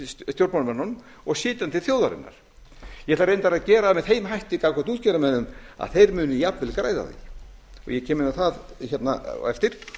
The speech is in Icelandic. og setja hann til þjóðarinnar ég ætla reyndar að gera það með þeim hætti gagnvart útgerðarmönnum að þeir muni jafnvel græða á því ég kem inn á það á eftir